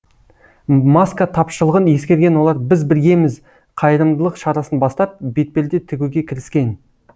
маска тапшылығын ескерген олар біз біргеміз қайырымдылық шарасын бастап бетперде тігуге кіріскен